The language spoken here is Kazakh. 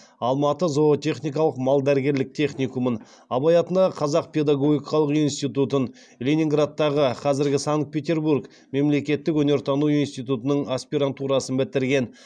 алматы зоотехникалық малдәрігерлік техникумын абай атындағы қазақ педагогикалық институтын ленинградтағы мемлекеттік өнертану институтының аспирантурасын бітірген